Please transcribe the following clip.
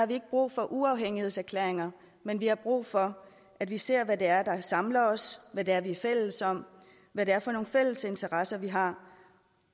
vi ikke brug for uafhængighedserklæringer men vi har brug for at vi ser hvad det er der samler os hvad det er vi er fælles om hvad det er for nogle fælles interesser vi har